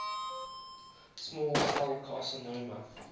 small cell carcinoma